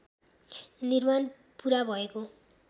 निर्माण पुरा भएको